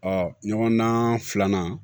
ɲɔgɔndan filanan